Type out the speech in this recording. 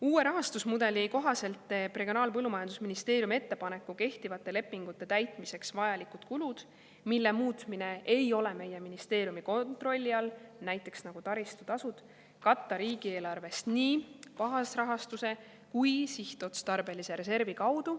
Uue rahastusmudeli kohaselt teeb Regionaal‑ ja Põllumajandusministeerium ettepaneku kehtivate lepingute täitmiseks vajalikud kulud, mille muutmine ei ole meie ministeeriumi kontrolli all, näiteks taristutasud, katta riigieelarvest nii baasrahastuse kui ka sihtotstarbelise reservi kaudu.